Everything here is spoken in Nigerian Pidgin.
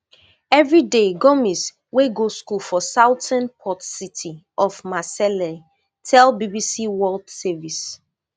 every day gomis wey go school for southern port city of marseille tell bbc world service